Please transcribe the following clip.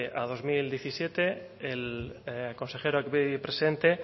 a dos mil diecisiete el consejero aquí presente